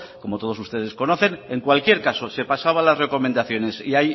como todos ustedes conocen en cualquier caso se pasaba las recomendaciones